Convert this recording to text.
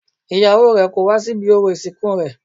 Ìyàwó rè kò wá sí ibi orò ìsìnkú rẹ̀